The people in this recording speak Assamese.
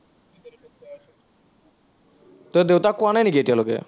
তই দেউতাক কোৱা নাই নেকি এতিয়ালৈকে?